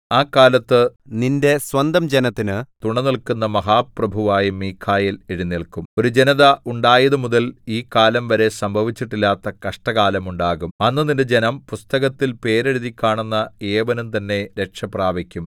ആ കാലത്ത് നിന്റെ സ്വന്തജനത്തിന് തുണനില്ക്കുന്ന മഹാപ്രഭുവായ മീഖായേൽ എഴുന്നേല്ക്കും ഒരു ജനത ഉണ്ടായതുമുതൽ ഈ കാലം വരെ സംഭവിച്ചിട്ടില്ലാത്ത കഷ്ടകാലം ഉണ്ടാകും അന്ന് നിന്റെ ജനം പുസ്തകത്തിൽ പേരെഴുതിക്കാണുന്ന ഏവനും തന്നെ രക്ഷ പ്രാപിക്കും